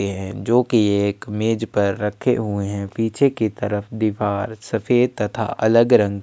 रखे हे एक मेज पर रखे हुए है पीछे की तरफ दीवार सफेद तथा अलग रंग --